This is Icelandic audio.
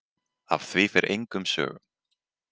Af því fer engum sögum.